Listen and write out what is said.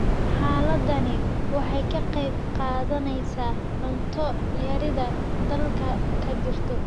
Xaaladani waxay ka qayb qaadanaysaa cunto yarida dalka ka jirta.